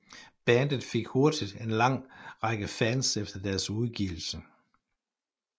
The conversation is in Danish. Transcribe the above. Bandet fik hurtigt en lang række fans efter dens udgivelse